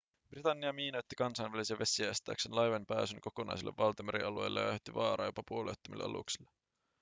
britannia miinoitti kansainvälisiä vesiä estääkseen laivojen pääsyn kokonaisille valtamerialueille ja aiheutti vaaraa jopa puolueettomille aluksille